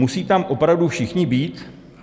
Musí tam opravdu všichni být?